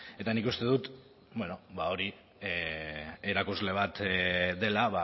eta nik uste dut hori erakusle bat dela